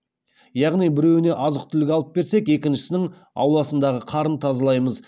яғни біреуіне азық түлік алып берсек екіншісінің ауласындағы қарын тазалаймыз